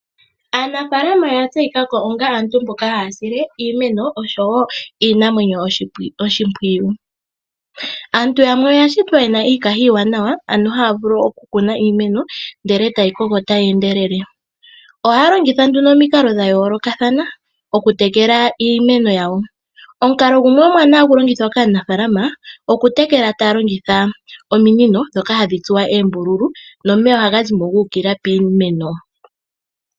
Aanafaalama oya tseyikako onga aantu mboka haya sile iimeno oshowo iinamwenyo oshimpwiyu. Aantu yamwe oyashitwa yena iikaha iiwanawa ano haya vulu oku kuna iimeno ndele tayi koko tayi endelele. Ohaya longitha nduno omikalo dha yoolokathana oku tekela iimeno yawo. Omukalo gumwe omuwanawa hagu longithwa kaanafaalama okutekela taya longitha ominino ndhoka hadhi tsuwa oombululu nomeya ohagazimo gu uka piimeno.